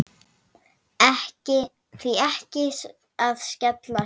Því ekki að skella sér?